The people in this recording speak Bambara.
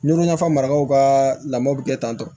Ɲugulama fa marakaw ka lamɔ bɛ kɛ tan tɔ